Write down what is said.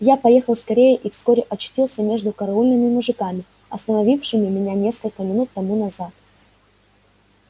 я поехал скорее и вскоре очутился между караульными мужиками остановившими меня несколько минут тому назад